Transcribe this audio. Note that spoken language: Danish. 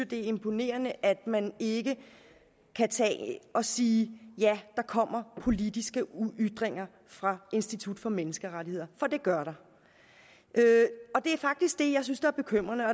det er imponerende at man ikke kan tage at sige ja der kommer politiske ytringer fra institut for menneskerettigheder for det gør der og det er faktisk det jeg synes er bekymrende